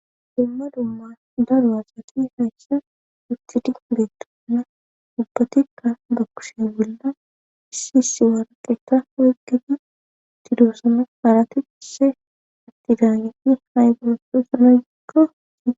dumma dumma daro asati haysha ustidi beettonna ubbatikka ba kushiye bolla issisi warqeta waygedi tidoossame haarati isse atidaaneti hay goroso sanagikkai